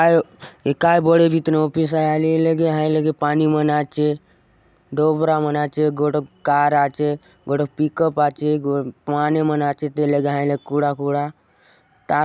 आय ये काय बड़े बीतीन ऑफिस आय आले ये लगे हाय लगे पानी मन आचे डोबरा मन आचे गोटोक कार आचे गोटोक पिकप आचे गो माने मन आचेत ये लगे हय लगे कूड़ा - कूड़ा तार --